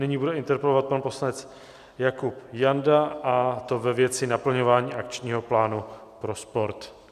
Nyní bude interpelovat pan poslanec Jakub Janda, a to ve věci naplňování akčního plánu pro sport.